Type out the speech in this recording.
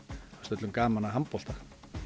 öllum gaman að handbolta